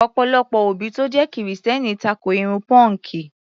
Ọ̀pọ̀lọpọ̀ òbí tó jẹ́ Kìrìsìtẹ́ẹ́nì tako irun pọ́ǹkì.